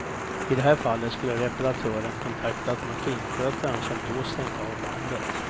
I det här fallet skulle repraratören kontaktat manskinskötaren som då stängt av bandet.